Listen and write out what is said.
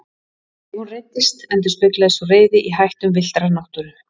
Ef hún reiddist endurspeglaðist sú reiði í hættum villtrar náttúru.